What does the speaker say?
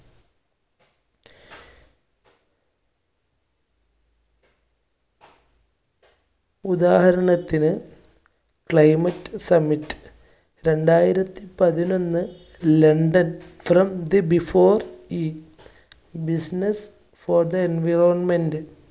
ഉദാഹരണത്തിന്, climate summitt രണ്ടായിരത്തി പതിനൊന്ന് london from the before each business for the environment